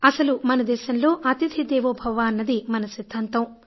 అసలు మన దేశంలో అతిథి దేవోభవ అన్నది మన సిద్ధాంతం